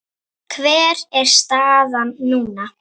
Hver er staðan núna?